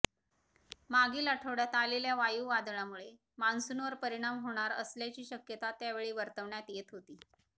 मागील आठवड्यात आलेल्या वायू वादळामुळे मान्सूवर परिणाम होणार असल्याची शक्यता त्यावेळी वर्तवण्यात येत होती